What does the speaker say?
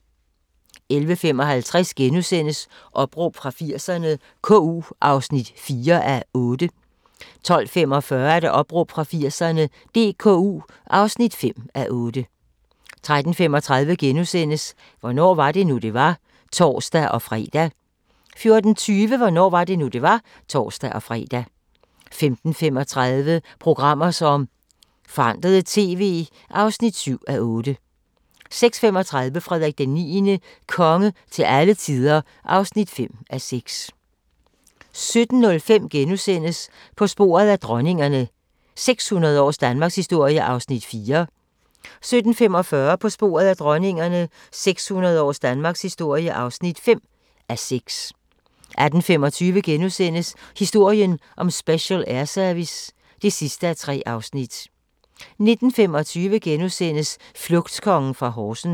11:55: Opråb fra 80'erne - KU (4:8)* 12:45: Opråb fra 80'erne – DKU (5:8) 13:35: Hvornår var det nu, det var? *(tor-fre) 14:20: Hvornår var det nu, det var? (tor-fre) 15:35: Programmer som forandrede TV (7:8) 16:35: Frederik IX – konge til alle tider (5:6) 17:05: På sporet af dronningerne – 600 års Danmarkshistorie (4:6)* 17:45: På sporet af dronningerne – 600 års danmarkshistorie (5:6) 18:25: Historien om Special Air Service (3:3)* 19:25: Flugtkongen fra Horsens *